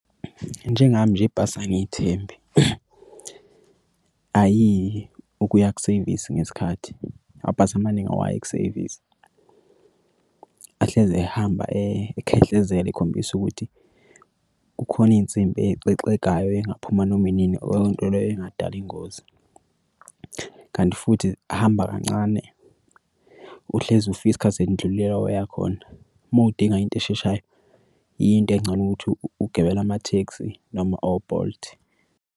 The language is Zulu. Njengami nje ibhasi angithembe ayiyi ukuya kusevisi ngesikhathi amabhasi amaningi awayi kusevisi. Ahlezi ehamba ekhehlezela ekhombisa ukuthi kukhona iy'nsimbi exegayo engaphuma noma inini leyo nto leyo ingadala ingozi, kanti futhi ahamba kancane uhlezi ufika iskhathi sendlulile la oyakhona. Uma udinga into esheshayo, into encono ukuthi ugibele amathekisi noma o-Bolt.